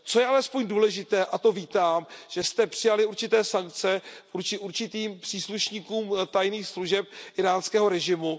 Co je alespoň důležité a to vítám, že jste přijali určité sankce vůči určitým příslušníkům tajných služeb íránského režimu.